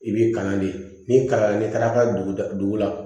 I b'i kalan de n'i kalan n'i taara dugu la